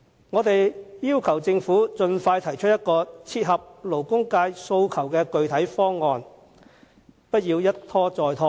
我們要求政府盡快提出一個切合勞工界訴求的具體方案，不要一拖再拖。